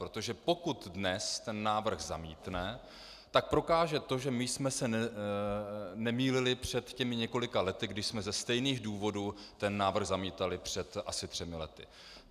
Protože pokud dnes ten návrh zamítne, tak prokáže to, že my jsme se nemýlili před těmi několika lety, když jsme ze stejných důvodů ten návrh zamítali, před asi třemi lety.